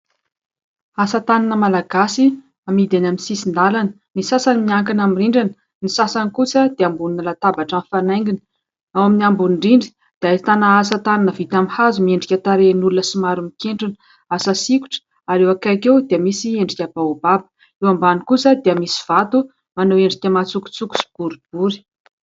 Asa tanana malagasy amidy eny amin'ny sisin-dalana. Ny sasany miankina amin' ny rindrina, ny sasany kosa dia ambonin' ny latabatra mifanaingina. Ao amin'ny ambony indrindra dia, ahitana asa tanana vita amin' ny hazo miendrika tarehin' olona somary mikentrona, asa sikotra ary eo akaiky eo dia misy endrika baôbaba. Eo ambany kosa dia, misy vato manao endrika matsokotsoko sy boribory.